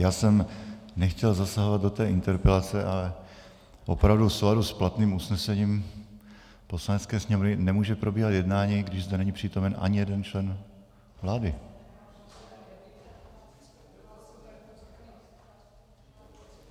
Já jsem nechtěl zasahovat do té interpelace, ale opravdu v souladu s platným usnesením Poslanecké sněmovny nemůže probíhat jednání, když zde není přítomen ani jeden člen vlády.